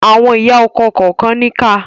Àwọn ìyá ọkọ kànkan níkà.